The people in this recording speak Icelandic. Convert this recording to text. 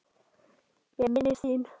Ég minnist þín.